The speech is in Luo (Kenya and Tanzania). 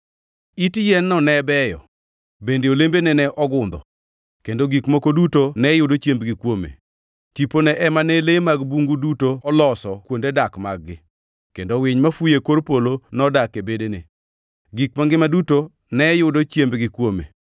It yien-no ne beyo, bende olembene ne ogundho, kendo gik moko duto ne yudo chiembgi kuome. Tipone ema ne le mag bungu duto oloso kuonde dak mag-gi, kendo winy mafuyo e kor polo nodak e bedene. Gik mangima duto ne yudo chiembgi kuome.